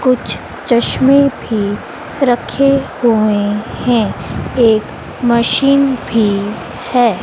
कुछ चश्मे भी रखे हुए हैं एक मशीन भी है।